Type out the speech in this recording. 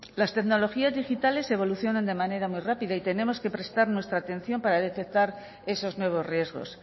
las tecnologías digitales evolucionan de manera muy rápida y tenemos que prestar nuestra atención para detectar esos nuevos riesgos